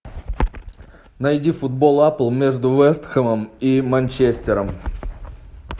найди футбол апл между вест хэмом и манчестером